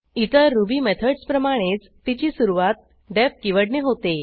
इतर रुबी मेथडसप्रमाणेच तिची सुरूवात डीईएफ कीवर्डने होते